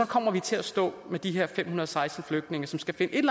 kommer vi til at stå med de her fem hundrede og seksten flygtninge som skal finde et